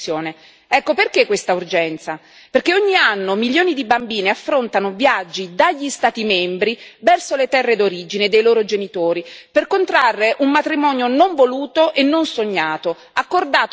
Perché ogni anno milioni di bambine affrontano viaggi dagli Stati membri verso le terre d'origine dei loro genitori per contrarre un matrimonio non voluto e non sognato, accordato dagli stessi genitori con uomini adulti.